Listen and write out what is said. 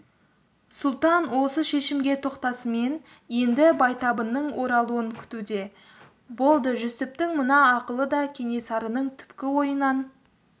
сұлтан осы шешімге тоқтасымен енді байтабынның оралуын күтуде болды жүсіптің мына ақылы да кенесарының түпкі ойынан